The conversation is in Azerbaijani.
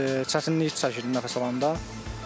İndi çətinlik çəkirdim nəfəs alanda.